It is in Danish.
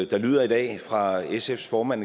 der lyder i dag fra sfs formand